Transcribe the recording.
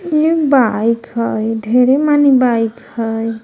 एक बाइक हय ढेरे माने बाइक हय।